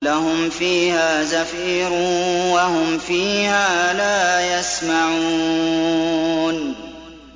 لَهُمْ فِيهَا زَفِيرٌ وَهُمْ فِيهَا لَا يَسْمَعُونَ